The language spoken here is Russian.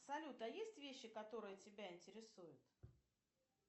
салют а есть вещи которые тебя интересуют